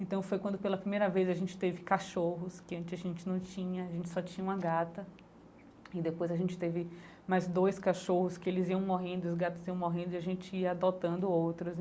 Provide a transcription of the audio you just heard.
Então foi quando pela primeira vez a gente teve cachorros, que antes a gente não tinha, a gente só tinha uma gata, e depois a gente teve mais dois cachorros que eles iam morrendo, os gatos iam morrendo e a gente ia adotando outros.